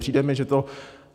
Přijde mi, že to...